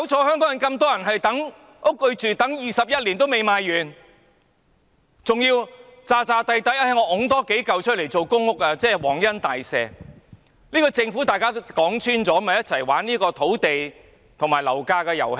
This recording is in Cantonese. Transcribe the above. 香港有這麼多人等候住屋，但土地21年仍未賣完，還要假裝多推出數幢大廈作為公屋，仿如皇恩大赦一樣，說穿了，這個政府是與大家一起"玩"土地和樓價的遊戲。